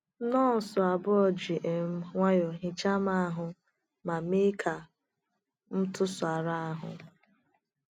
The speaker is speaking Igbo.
Nọọsụ abụọ ji um nwayọọ hichaa m ahụ ma mee ka m tụsara ahụ.